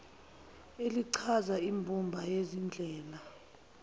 elichaza imbumba yezindlela